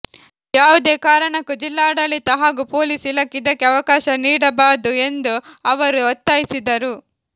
ಯಾವುದೇ ಕಾರಣಕ್ಕೂ ಜಿಲ್ಲಾಡಳಿತ ಹಾಗೂ ಪೊಲೀಸ್ ಇಲಾಖೆ ಇದಕ್ಕೆ ಅವಕಾಶ ನೀಡಬಾದು ಎಂದು ಅವರು ಒತ್ತಾಯಿಸಿದರು